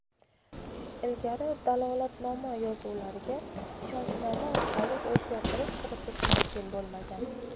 Ilgari dalolatnoma yozuvlariga ishonchnoma orqali o‘zgartirish kiritish mumkin bo‘lmagan.